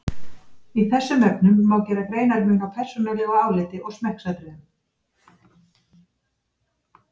Í þessum efnum má gera greinarmun á persónulegu áliti og smekksatriðum.